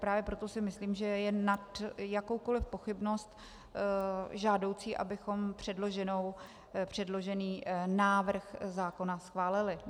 Právě proto si myslím, že je nad jakoukoli pochybnost žádoucí, abychom předložený návrh zákona schválili.